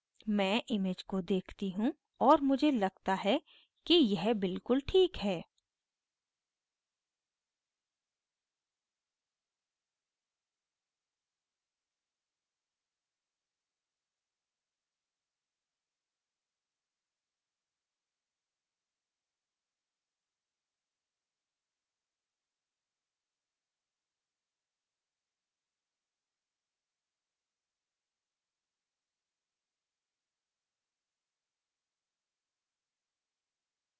मैं image को देखती हूँ और मुझे लगता है कि यह बिल्कुल ठीक है